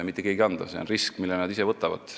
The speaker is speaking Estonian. See on risk, mille nad ise võtavad.